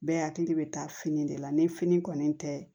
Bɛɛ hakili bɛ taa fini de la ni fini kɔni tɛ